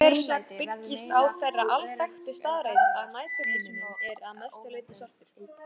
Þessi þversögn byggist á þeirri alþekktu staðreynd að næturhiminninn er að mestu leyti svartur.